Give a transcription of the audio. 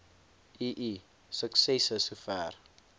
ii suksesse sover